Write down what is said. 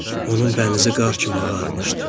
Onun bənizi qar kimi ağarmışdı.